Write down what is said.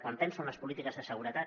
quan penso en les polítiques de seguretat